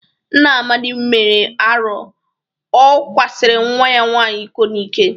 Nna Amadị mere arọ. O kwasịrị nwa ya nwaanyị iko n'ike.